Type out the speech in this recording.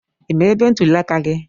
I ma ebe ntuli aka gị?